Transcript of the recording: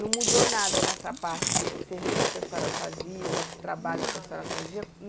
Não mudou nada nessa parte desses serviços que a senhora fazia, desses trabalhos, não, que a senhora fazia?